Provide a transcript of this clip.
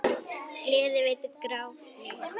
Gleði veitir grátnu hjarta.